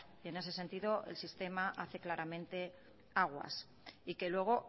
y en ese el sentido el sistema hace claramente aguas y que luego